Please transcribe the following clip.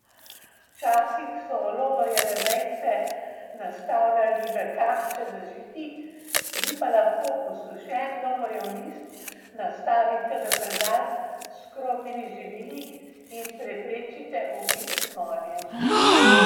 Včasih so lovorjeve vejice nastavljali v kašče z žiti, vi pa lahko posušen lovorjev list nastavite v predal s škrobnimi živili in preprečite obisk moljem.